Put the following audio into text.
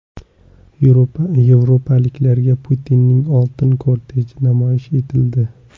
Yevropaliklarga Putinning oltin korteji namoyish etildi .